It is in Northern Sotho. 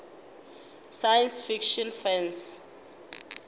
science fiction fans